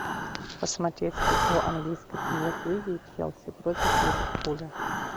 посмотреть игру английской премьер лиги челси против ливерпуля